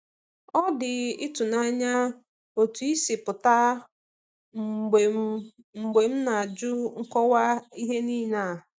Ọ dị ịtụnanya otú ị si pụta mgbe m mgbe m na-ajụ nkọwa ihe niile a.